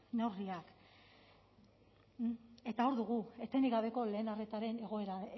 neurriak eta hor dugu etenik gabeko lehen arretaren egoera